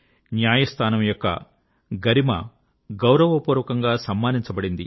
న్యాయస్థానం యొక్క గరిమ గౌరవపూర్వకంగా సమ్మానించబడింది